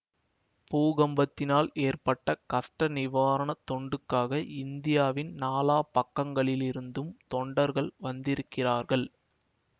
பூகம்பத்தினால் ஏற்பட்ட கஷ்ட நிவாரணத் தொண்டுக்காக இந்தியாவின் நாலா பக்கங்களிலிருந்தும் தொண்டர்கள் வந்திருக்கிறார்கள்